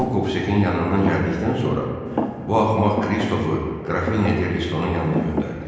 O Qovsekin yanından gəldikdən sonra bu axmaq Kristofu Qrafini Desto-nun yanına göndərdi.